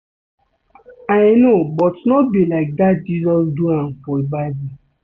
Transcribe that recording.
I know but no be like dat Jesus do am for bible